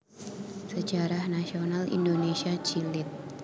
Sejarah Nasional Indonesia Jilid